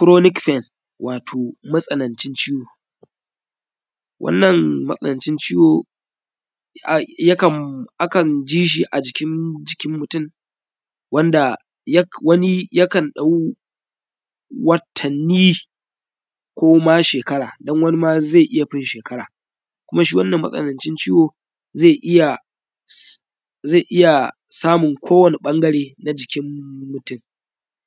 ‘chronic pen’ wato, matsanancin ciwo, wannan matsanancin ciwo, a; yakan; a kan ji shi a jikim; jikin mutum wanda yak; wani yakan ɗau watanni ko ma shekara. Dan wani ma, ze iya fin shekara, kuma shi wannan matsanancin ciwo, ze iya s; ze iya samun ƃangare na jikim mutum,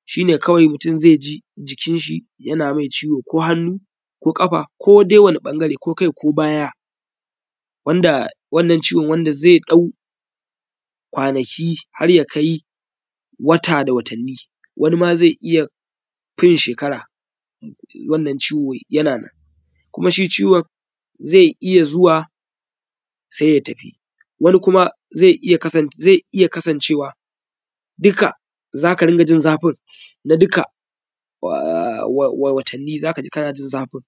shi ne kawai mutum ze ji jikinshi yana mai ciwo ko hannu ko ƙafa ko dai wani ƃangare ko kai ko baya wanda wannan ciwo, wanda ze ɗau kwanaki har ya kai wata da watanni. Wani ma, ze iya fin shekara, wannan ciwo yana nan kuma shi ciwan ze iya zuwa, se ya tafi, wani kuma ze iya kasanc; ze iya kasancewa dika za ka ringa jin zafin na dika wa; wa; wa; watanni za ka ji kana jin zafin.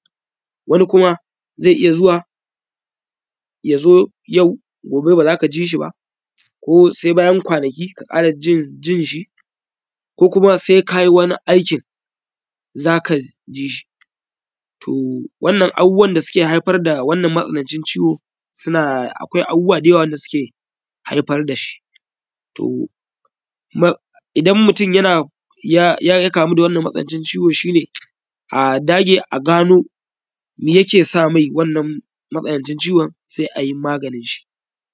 Wani kuma, ze iya zuwa, ya zo yau gobe ba za ka ji shi ba ko se bayan kwanaki ka ƙara jin; jin shi ko kuma se kayi wani aikin za kaj ji shi. To, wannan abubuwan da suke haifar da wannan matsanancin ciwo suna, akwai abubuwa da yawa; akwai abubuwa da yawa da suke haifar da shi, to ma idan mutum yana ya; ya kamu da wannan ciwo, shi ne a dage a gano mi yake sa mai wannan matsanancin ciwan, se ai maganin shi.